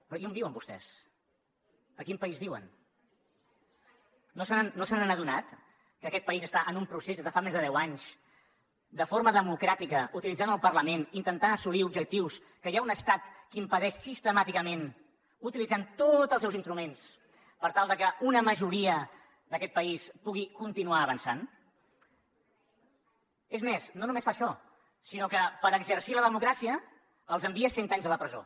però i on viuen vostès a quin país viuen no se n’han adonat que aquest país està en un procés des de fa més de deu anys de forma democràtica utilitzant el parlament per intentar assolir objectius que hi ha un estat que impedeix sistemàticament utilitzant tots els seus instruments per tal de que una majoria d’aquest país pugui continuar avançant és més no només fa això sinó que per exercir la democràcia els envia cent anys a la presó